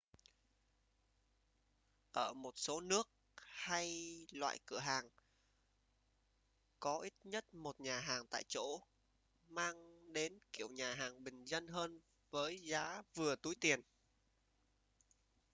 ở một số nước hay loại cửa hàng có ít nhất một nhà hàng tại chỗ mang đến kiểu nhà hàng bình dân hơn với giá vừa túi tiền